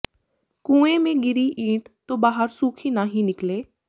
ਕੂਏਂ ਮੇ ਗਿਰੀ ਈਂਟ ਤੋ ਬਾਹਰ ਸੂਖੀ ਨਾਹੀਂ ਨਿਕਲੇ